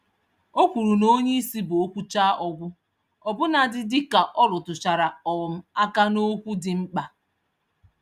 O kwùrù na onyeisi bú okwuchaa-ọgwụ, ọbụna dị dịka ọrụtụchara um àkà n'okwu dị mkpa.